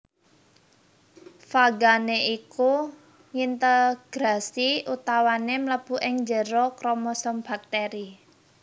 Fagané iku ngintegrasi utawané mlebu ing njero kromosom baktèri